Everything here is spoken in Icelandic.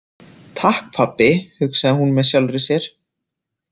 Takk pabbi, hugsaði hún með sjálfri sér.